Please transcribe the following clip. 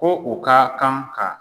Ko u ka kan ka